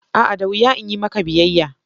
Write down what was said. A'a! da wuya in yi maka biyayya.